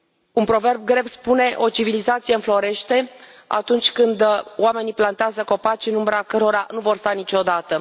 Un proverb grec spune că o civilizație înflorește atunci când oamenii plantează copaci în umbra cărora nu vor sta niciodată.